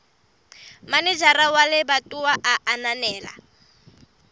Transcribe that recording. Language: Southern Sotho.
manejara wa lebatowa a ananela